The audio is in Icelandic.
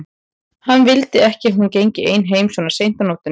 Hann vildi ekki að hún gengi ein heim svona seint á nóttunni.